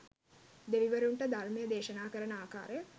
දෙවිවරුන්ට ධර්මය දේශනා කරන ආකාරය